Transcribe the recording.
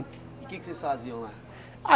E o que é que vocês faziam lá?